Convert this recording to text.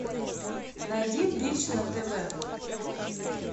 найди бридж на тв